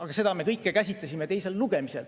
Aga seda me kõike käsitlesime teisel lugemisel.